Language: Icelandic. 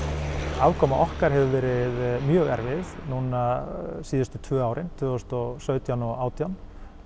afkoma okkar hefur verið mjög erfið núna síðustu tvö ár tvö þúsund og sautján og átján